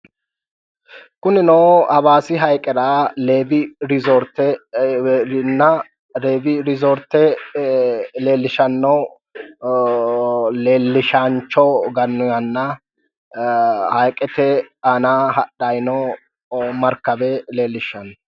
kunino hawaasi hayiiqerea leewi riizoorte leellishanno leellishaancho gannoyiihanna hayiiqete aana hadhayi noo markawe leellishanno